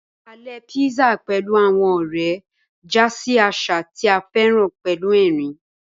Alè písà pẹ̀lú àwọn ọ̀rẹ́ já sí àṣà tí a féràn pẹ̀lú ẹ̀rín